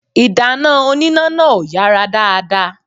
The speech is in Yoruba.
Ìdáná oníná náà ò yàrá dáadáa